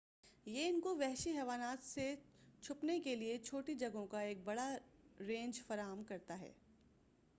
یہ ان کو وحشی حیوانات سے چھپنے کے لئے چھوٹی جگہوں کا ایک بڑا رینج فراہم کرتا ہے